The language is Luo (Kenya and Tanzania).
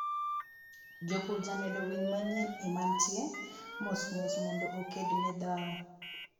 jopur jamedo winy manyien e mantie mosmos modno okedne dhao